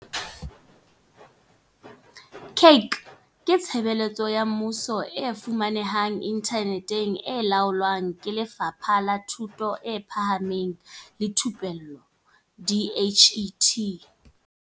CACH ke tshebeletso ya mmuso e fumanehang inthaneteng e laolwang ke Lefapha la Thuto e Phahameng le Thupello DHET.